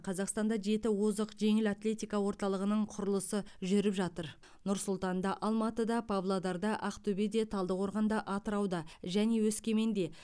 қазақстанда жеті озық жеңіл атлетика орталығының құрылысы жүріп жатыр нұр сұлтанда алматыда павлодарда ақтөбеде талдықорғанда атырауда және өскеменде